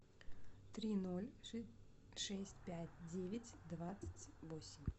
три ноль шесть пять девять двадцать восемь